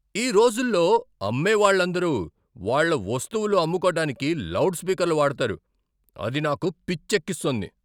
ఈ రోజుల్లో అమ్మేవాళ్ళందరూ వాళ్ళ వస్తువులు అమ్ముకోటానికి లౌడ్ స్పీకర్లు వాడతారు, అది నాకు పిచ్చెక్కిస్తుంది.